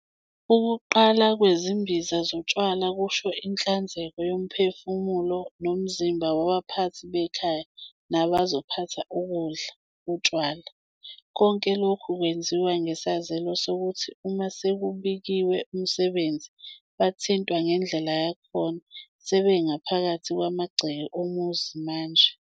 Ukuqalwa kwezimbiza zotshwala kusho inhlanzeko yomphefumulo nomzimba wabaphathi bekhaya nabazophatha ukudla, utshwala. Konke lokhu kwenziwa ngesazelo sokuthi uma sekubikwe umsebenzi, bathintwa ngendlela yakhona sebengaphakathi kwamagceke omuzi manje.